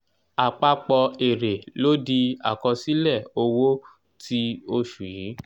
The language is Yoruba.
àpapọ̀ èrè ló di àkọsílẹ owó ti oṣù yìí.